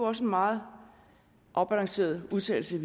også en meget afbalanceret udtalelse